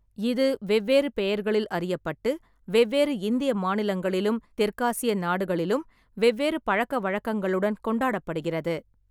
இது வெவ்வேறு பெயர்களில் அறியப்பட்டு, வெவ்வேறு இந்திய மாநிலங்களிலும், தெற்காசிய நாடுகளிலும் வெவ்வேறு பழக்கவழக்கங்களுடன் கொண்டாடப்படுகிறது.